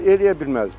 Eləyə bilməzdi.